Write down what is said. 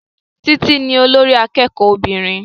Títí ní olórí akẹ́kọ̀ọ́ obìnrin